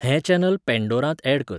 हें चॅनल पँडोरांत ऍड कर